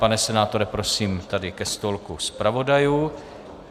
Pane senátore, prosím, tady ke stolku zpravodajů.